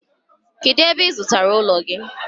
Kedu ebe ị zụtara ụlọ gị?